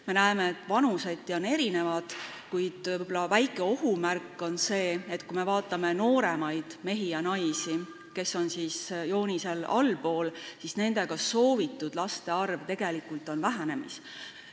Me näeme, et vanuseti on soovid erinevad, kuid võib-olla väike ohumärk on see, et noorematel meestel ja naistel, kes on siin joonisel kujutatud allpool, on ka soovitud laste arv tegelikult vähenemas.